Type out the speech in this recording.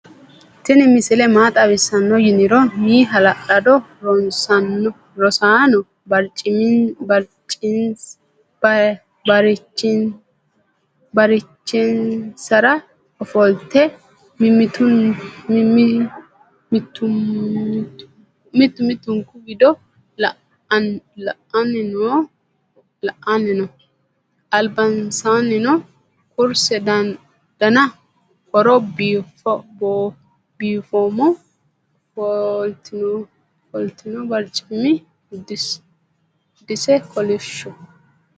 tinni misile maa xawisano yinniro.m haala'lado rosanno barchinsara ofolte mittumittunku wido la'anni noo ^ albansanninoo kuurse daana hooro bifoma..ofltino barcimi dasi kolishoho?